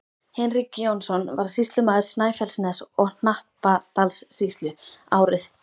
Hinrik Jónsson varð sýslumaður Snæfellsness- og Hnappadalssýslu árið